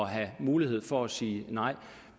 have mulighed for at sige nej